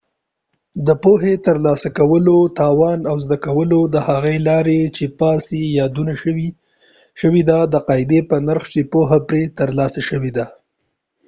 د پوهی د ترلاسه کولو توان او زده کول د هغې لارې چې پاس یې یادونه شوي ده د قاعدي په نرخ چې پوهه پری ترلاسه شوي ده